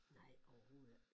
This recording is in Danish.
Nej overhovedet ikke